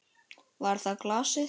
Var það glasið?